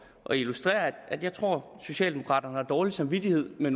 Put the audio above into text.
at illustrere at jeg tror at socialdemokraterne har dårlig samvittighed med